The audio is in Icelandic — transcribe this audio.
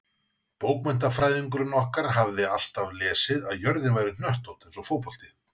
Bókmenntafræðingurinn okkar hafði alltaf lesið að jörðin væri hnöttótt eins og fótbolti.